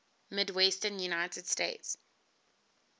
midwestern united states